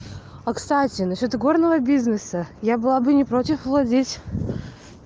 а кстати насчёт игорного бизнеса я была бы не против владеть